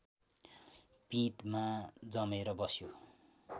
पिँधमा जमेर बस्यो